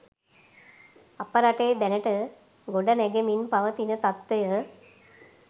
අප රටේ දැනට ගොඩනැගෙමින් පවතින තත්වය